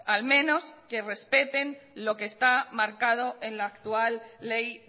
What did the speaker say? al menos que respeten lo que está marcado en la actual ley